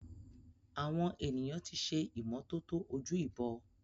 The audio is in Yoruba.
Awon eniyan ti se imototo oju-ibo.